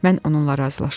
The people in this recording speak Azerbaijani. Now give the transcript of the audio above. Mən onunla razılaşırdım.